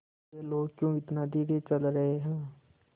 ये लोग क्यों इतना धीरे चल रहे हैं